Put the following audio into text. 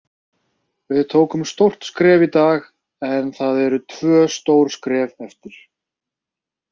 Við tókum stórt skref í dag en það eru tvö stór skref eftir.